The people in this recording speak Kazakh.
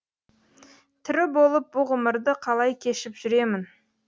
тірі болып бұ ғұмырды қалай кешіп жүремін